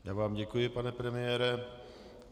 Já vám děkuji, pane premiére.